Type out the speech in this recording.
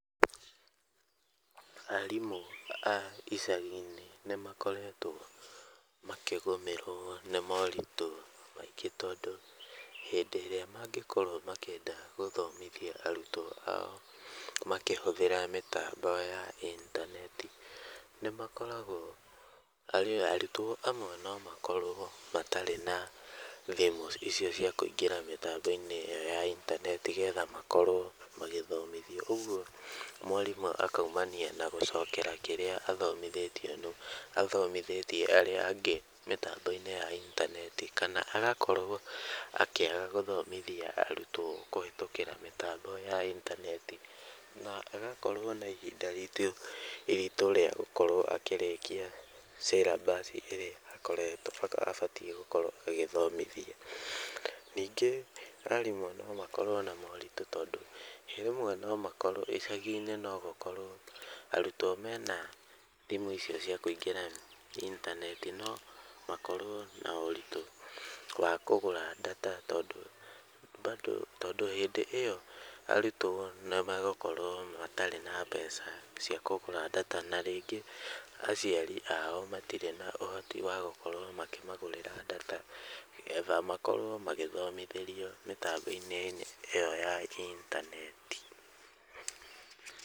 Arimũ a icagi-nĩ nĩ makoretwo makĩgũmĩrwo nĩ moritũ maingĩ tondũ hĩndi ĩrĩa mangĩkorwo makĩenda gũthomithia arutwo ao makĩhũthĩra mĩtambo ya intaneti, nĩ makoragwo, arutwo amwe no makorwo matarĩ na thimũ icio cia kũingĩra mĩtambo-inĩ ĩo ya intaneti nĩ getha makorwo magĩthomithio, ũguo mwarimũ akumania na gũcokera kĩria athomithĩtie arĩa angĩ mĩtambo-inĩ ya intaneti kana agakorwo akĩaga gũthomithia arutwo kũhetũkĩra mĩtambo ya intaneti na agakorwo na ihinda iritũ rĩa gũkorwo akĩrĩkia cĩrambaci ĩrĩa akoretwo, abatiĩ gũkorwo agĩthomithia. Ningĩ arimũ no makorwo na moritũ tondũ, rĩmwe no makorwo, icagi-nĩ no gũkorwo, arutwo mena thimũ icio cia kũingĩra intaneti no makorwo na ũritũ wa kũgũra ndata tondũ mbandũ, tondũ hĩndĩ ĩo arutwo nĩmegũkorwo matarĩ na mbeca cia kũgũra ndata na rĩngĩ aciari ao matirĩ na ũhoti wa gũkorwo makĩmagũrĩra ndata nĩgetha makorwo magĩthomithĩrio mĩtambo-inĩ ĩo ya intaneti.